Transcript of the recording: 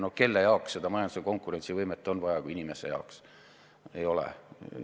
No kelle jaoks seda majanduse konkurentsivõimet ikka on vaja kui mitte inimeste jaoks?